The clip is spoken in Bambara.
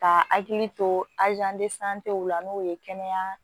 Ka hakili to la n'o ye kɛnɛya